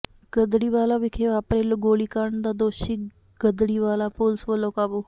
ਗੜ੍ਹਦੀਵਾਲਾ ਵਿਖੇ ਵਾਪਰੇ ਗੋਲੀਕਾਂਡ ਦਾ ਦੋਸ਼ੀ ਗੜ੍ਹਦੀਵਾਲਾ ਪੁਲਸ ਵਲੋਂ ਕਾਬੂ